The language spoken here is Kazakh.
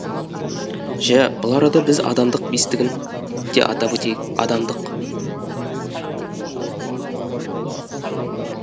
жә бұл арада біз адамдық бестігін де атап өтейік адамдық